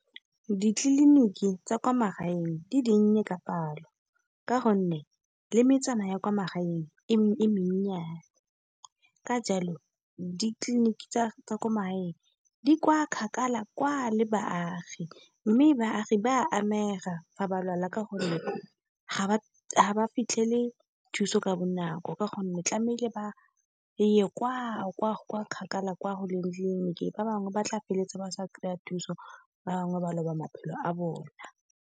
Ditleliniki tsa kwa magaeng di dinnye ka palo ka gone, le metsana ya kwa magaeng e menyennyane. Ka jalo ditleliniki tsa kwa di kwa kgakala kwa le baagi, mme baagi ba amega fa ba lwala. Ka gonne ga ba ga ba fitlhele thuso ka bonako, ka gonne tlamehile ba ba ye kwa kgakala kwa, go leng tlileniki ba bangwe ba tla feleletsa ba sa kry-a thuso, ba bangwe ba loba maphelo a bone.